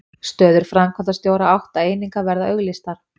Stöður framkvæmdastjóra átta eininga verða auglýstar